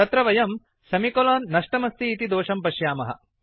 तत्र वयं सेमिकोलोन् नष्टमस्ति इति दोषं पश्यामः